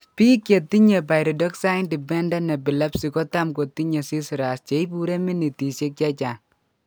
Biik chetinye pyridoxine dependent epilepsy kotam kotinye seizures cheibure minitisiek chechang'